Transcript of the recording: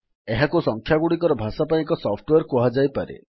ଏହାକୁ ସଂଖ୍ୟାଗୁଡ଼ିକର ଭାଷା ପାଇଁ ଏକ ସଫ୍ଟୱେର୍ କୁହାଯାଇପାରେ